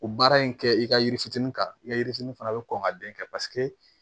O baara in kɛ i ka yiri fitinin kan i ka yiri fitini fana bɛ kɔn ka den kɛ paseke